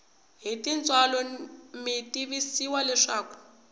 hi tintswalo mi tivisiwa leswaku